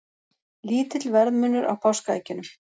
Lítill verðmunur á páskaeggjunum